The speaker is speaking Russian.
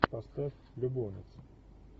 поставь любовницы